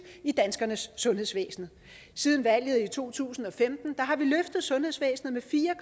i danskernes sundhedsvæsen siden valget i to tusind og femten har vi løftet sundhedsvæsenet